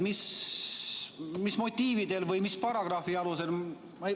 Mis motiividel või mis paragrahvi alusel?